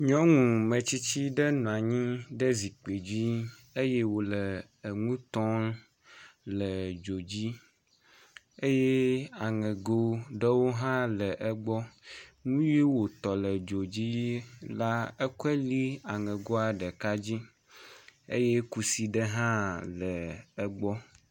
nyɔnu mestsitsi ɖe nɔanyi ɖe zikpi dzi eye wòle eŋutɔm le dzo dzi eye aŋego ɖewo hã le egbɔ nyiwo wò tɔ le dzodzi la ékoe lĩ aŋegoa ɖeka dzi eye kusi ɖe hã le egbɔ